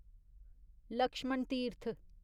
Lakshman Tirth